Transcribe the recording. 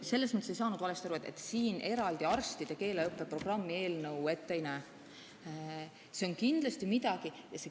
Ei, selles mõttes te ei saanud valesti aru, et eraldi arstide keeleõppe programmi eelnõu ette ei näe.